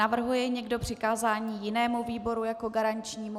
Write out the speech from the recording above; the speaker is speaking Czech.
Navrhuje někdo přikázání jinému výboru jako garančnímu?